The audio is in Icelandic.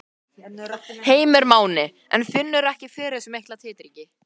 Heimir Már: En finnurðu ekki fyrir þessum mikla titringi?